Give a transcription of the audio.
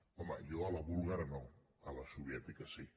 home jo a la búlgara no a la soviètica sí